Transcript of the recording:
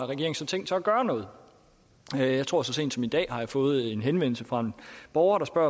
tænkt sig at gøre noget jeg tror så sent som i dag har fået en henvendelse fra en borger der spørger